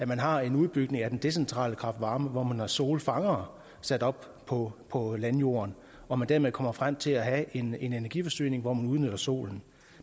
man har en udbygning af den decentrale kraft varme og hvor man har solfangere sat op på på landjorden og dermed kommer frem til at have en energiforsyning hvor man udnytter solen